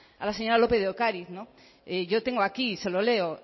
a la señora lópez de ocariz yo tengo aquí se lo leo